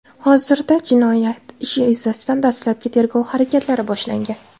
Hozirda jinoyat ishi yuzasidan dastlabki tergov harakatlari boshlangan.